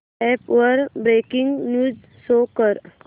app वर breaking news show कर